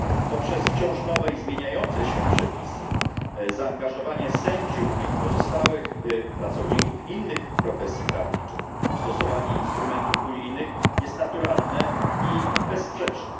Poprzez wciąż nowe i zmieniające się przepisy zaangażowanie sędziów i pozostałych pracowników innych profesji prawniczych, stosowanie instrumentów unijnych jest naturalne i bezsprzeczne.